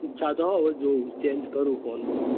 ઈચ્છા તો હે હવે જોવું change કરું phone બોન.